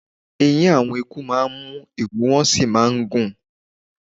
Eyín àwọn eku máa ń mú, ìru wọn sì máa ń gùn